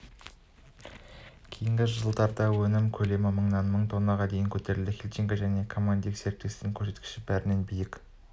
кейінгі жылда өнім көлемі мыңнан мың тоннаға дейін көтерілді хильниченко және командиттік серіктестігінің көрсеткіші бәрінен биік